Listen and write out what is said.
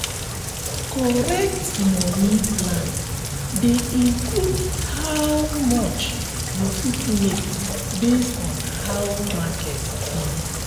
correct moni plan dey include how much you fit make based on how market be.